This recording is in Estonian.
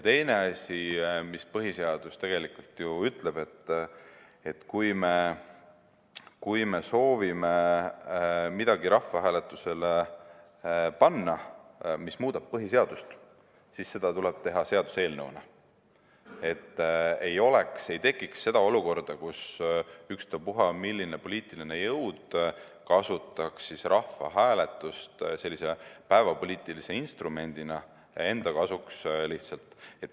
Teine asi, mida põhiseadus ütleb: kui me soovime rahvahääletusele panna midagi, mis muudab põhiseadust, siis seda tuleb teha seaduseelnõuna, et ei tekiks olukorda, kus ükstaspuha milline poliitiline jõud kasutaks rahvahääletust päevapoliitilise instrumendina enda kasuks.